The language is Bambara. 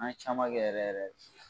An ye caman kɛ yɛrɛ yɛrɛ